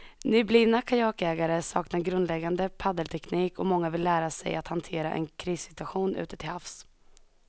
Nyblivna kajakägare saknar grundläggande paddelteknik och många vill lära sig att hantera en krissituation ute till havs.